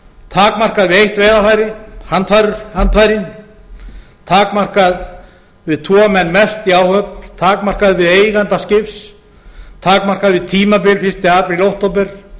takmarkað við eitt veiðarfæri handfærin takmarkað við tvo menn mest í áhöfn takmarkað við eiganda skips takmarkað við tímabil fyrsta apríl til október